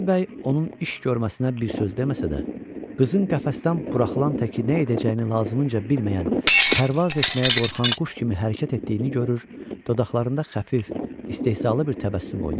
Qazı bəy onun iş görməsinə bir söz deməsə də, qızın qəfəsdən buraxılan təki nə edəcəyini lazımınca bilməyən, pərvaz etməyə qorxan quş kimi hərəkət etdiyini görür, dodaqlarında xəfif, istehzalı bir təbəssüm oynayırdı.